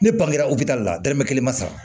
Ne bangera u bɛ taa la dalemɛ kelen ma sa